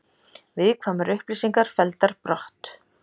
Viðkvæmar upplýsingar felldar brott